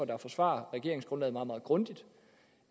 der forsvarer regeringsgrundlaget meget meget grundigt